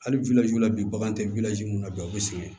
Hali la bi bagan tɛ mun na bi u bɛ sigi